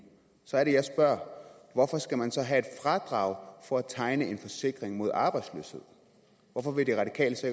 så er det jeg spørger hvorfor skal man så have et fradrag for at tegne en forsikring mod arbejdsløshed hvorfor vil de radikale så